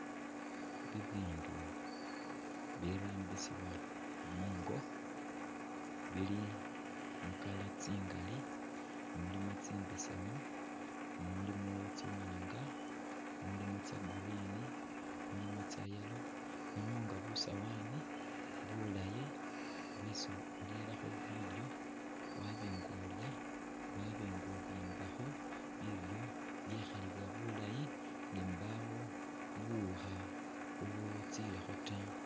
Bibindu bibirambisibwa mungo bili mu colour tsingaali, mulimo tsimbesemu, mulimo tsiwaanga, mulimo tsa green, mulimo tsa yellow, mulimo nga busawani bulaayi bwesi urerakho bilyo, waba nga ulya, waba nga ubimbakho bilyo byekhalibwa bulaayi nga mbaawo buwukha ubutsileekho ta.